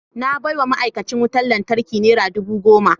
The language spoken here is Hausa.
Na baiwa ma’aikacin wutar lantarki nera dubu goma.